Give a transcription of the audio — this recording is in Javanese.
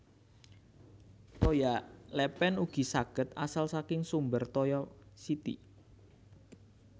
Toya lèpèn ugi saged asal saking sumber toya siti